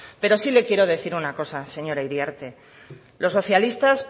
pero sí le quiero decir una cosa señora iriarte los socialistas